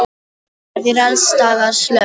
Það er alls staðar slökkt.